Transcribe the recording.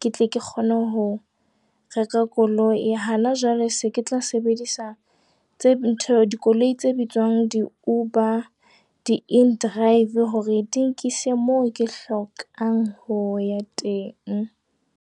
ke tle ke kgone ho reka koloi. Hana jwale se ke tla sebedisa ntho dikoloi tse bitswang di-UBER, di-inDrive hore di nkise mo ke hlokang ho ya teng.